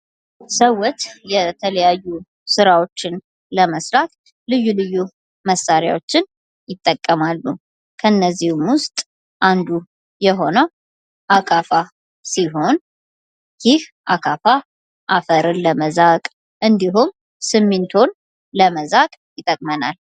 ሰዎች የተለያዩ ስራዎችን ለመስራት ልዩ ልዩ መሳሪያዎችን ይጠቀማሉ ከእነዚህም ውስጥ አንዱ የሆነው አካፋ ሲሆን ይህ አካፋ አፈርን ለመዛቅ፥ እንዲሁም ሲሚንቶን ለመዛቅ ይጠቅማል።